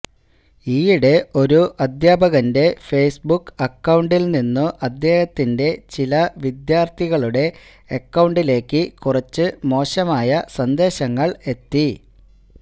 ഈയിടെ ഒരു അധ്യാപകന്റെ ഫേസ്ബുക്ക് അക്കൌണ്ടിൽ നിന്നു അദ്ദേഹത്തിന്റെ ചില വിദ്യാർഥികളുടെ അക്കൌണ്ടിലേയ്ക്ക് കുറച്ച് മോശമായ സന്ദേശങ്ങൾ എത്തി